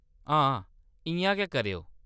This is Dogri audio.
हां, इ'यां गै करेओ।